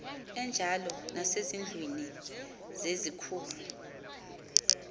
enjalo nasezindlwini zezikhul